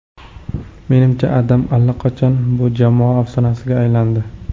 Menimcha, Adam allaqachon bu jamoa afsonasiga aylandi.